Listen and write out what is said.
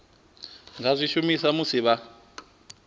nga zwi shumisa musi vha